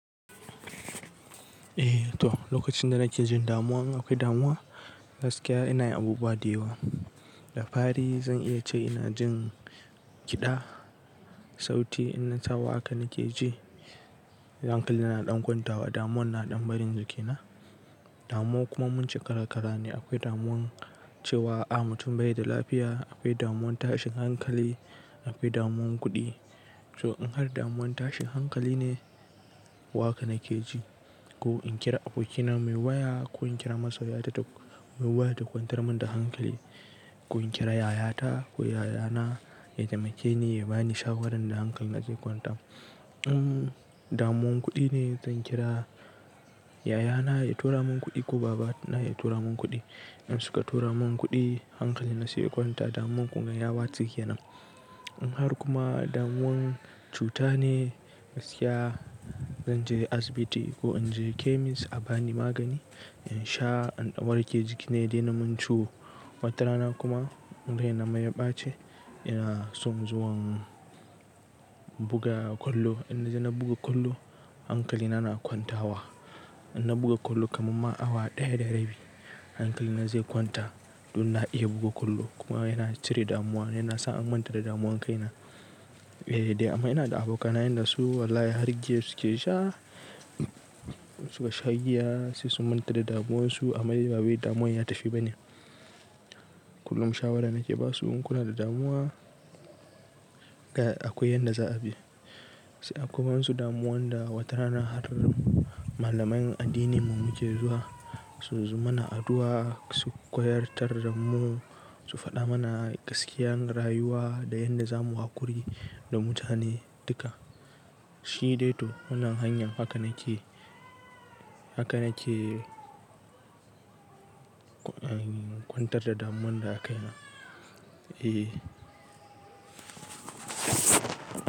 Eh to, lokacin da nake jin damuwa, akwai damuwa gaskiya ina yin abubuwa da yawa. Da fari zan iya ce ina jin kiɗa, sauti in na sawaƙa nike ji. Hankali na na ɗan kwanta wa, damuwan na ɗan barin jikina. Damuwa kuma mun ce kara-kara ne. Akwai damuwan cewa a mutum bai da lafiya, akwai damuwan tashin hankali, akwai damuwan kuɗi. To in har damuwan tashin hankali ne waka nike ji ko in kira abokina muyi waya ko in kira masoyiyata mu waya ta kwantar min da hankali. Ko in kira yayata ko yayana ya taimake ni ya bani shawarar da hankali ze kwanta. In damuwan kuɗi ne, zan kira yayana ya tura mun kuɗi ko babana ya tura mun kuɗi. In suka tura mun kuɗi, hankali na se ya kwanta damuwan kuma yawatse ke nan. In har kuma damuwan cuta ne gaskiya, zan je asibiti ko in je chemist a bani magani in sha in warke jikina yadena mun ciwo. Wata rana kuma raina ma ya ɓace ya son zuwan buga kwallo. In na je na buga kwallo, hankali na na kwanta wa. In na buga kwallo kamar ma awa ɗaya da rabi, hankali na zai kwanta don na iya buga kwallo kuma yana cire damuwa yana sa an manta da damuwan kaina. Eh dai amma ina da abokana yanda su wallahi har giya suke sha, suka sha giya sai su manta da damuwansu amma dai ba bai damuwa ya tafi ba ne. Kullum shawara nake ba su in kuna da damuwa, ga akwai yanda za a bi. Da akwai wasu damuwan da wata rana har malaman addininmu muke zuwa su su mana addu'a, su koya tarda mu, su faɗa mana gaskiyar rayuwa da yanda zamu haƙuri da mutane duka. Shi dai to wannan hanya haka nake, haka nake kwantar da damuwan da a kaina. Eh.